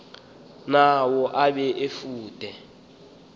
nawo abe efude